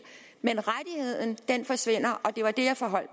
men rettigheden forsvinder og det var det jeg forholdt